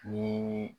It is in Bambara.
Ni